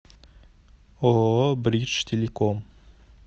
ооо бридж телеком